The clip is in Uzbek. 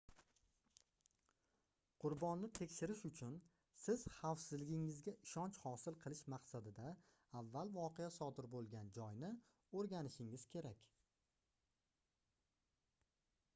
qurbonni tekshirish uchun siz xavfsizligingizga ishonch hosil qilish maqsadida avval voqea sodir boʻlgan joyni oʻrganishingiz kerak